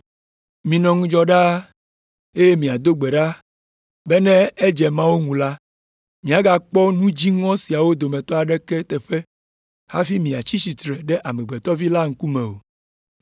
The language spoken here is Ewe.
Minɔ ŋudzɔ ɖaa, eye miado gbe ɖa be ne edze Mawu ŋu la, miagakpɔ nu dziŋɔ siawo dometɔ aɖeke teƒe hafi miatsi tsitre ɖe Amegbetɔ Vi la ŋkume o.”